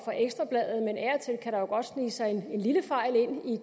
ekstra bladet men af og til kan der godt snige sig en lille fejl ind i